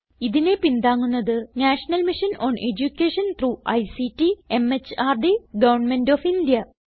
ഇതിനെ പിന്താങ്ങുന്നത് national mission on education through ICT MHRD government of India